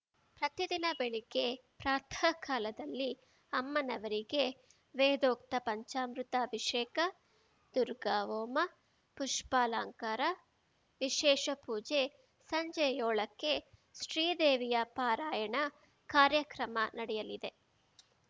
ಪ್ರತಿದಿನ ಬೆಳಿಗ್ಗೆ ಪ್ರಾಥಃ ಕಾಲದಲ್ಲಿ ಅಮ್ಮನವರಿಗೆ ವೇದೋಕ್ತ ಪಂಚಾಮೃತ ಅಭಿಷೇಕ ದುರ್ಗಾ ಹೋಮ ಪುಷ್ಪಾಲಂಕಾರ ವಿಶೇಷ ಪೂಜೆ ಸಂಜೆ ಯೋಳಕ್ಕೆ ಶೀದೇವಿಯ ಪಾರಾಯಣ ಕಾರ್ಯಕ್ರಮ ನಡೆಯಲಿವೆ